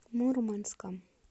мурманском